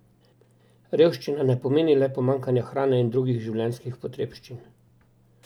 Revščina ne pomeni le pomanjkanje hrane in drugih življenjskih potrebščin.